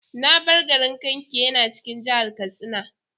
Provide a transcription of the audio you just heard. Na bar garin Kankia yana cikin jihar Katsina.